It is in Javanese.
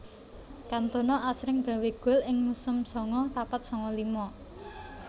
Kantona asring gawé gol ing musim sanga papat sanga lima